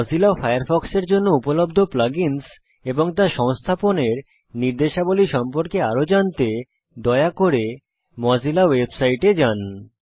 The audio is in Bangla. মোজিলা ফায়ারফক্সের জন্য উপলব্ধ plug ইন্স এবং তা সংস্থাপনের নির্দেশাবলী সম্পর্কে আরো জানতে দয়া করে মোজিল্লা ওয়েবসাইটে যান